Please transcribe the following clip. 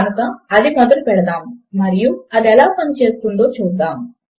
కనుక అది మొదలు పెడదాము మరియు అది ఎలా పని చేస్తుందో చూద్దాము